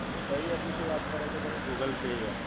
કઈ એપ વિશે વાત કરો છો તમે? Google Pay app